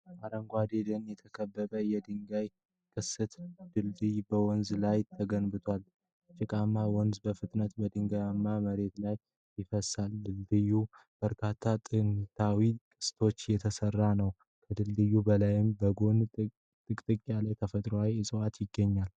በአረንጓዴ ደን የተከበበ የድንጋይ ቅስት ድልድይ በወንዝ ላይ ተገንብቷል። ጭቃማው ወንዝ በፍጥነት በድንጋያማ መሬት ላይ ይፈስሳል፤ ድልድዩ ከበርካታ ጥንታዊ ቅስቶች የተሰራ ነው። ከድልድዩ በላይና በጎን ጥቅጥቅ ያለ ተፈጥሯዊ ዕፅዋት ይገኛል።